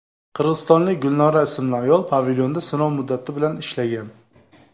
Qirg‘izistonlik Gulnora ismli ayol pavilyonda sinov muddati bilan ishlagan.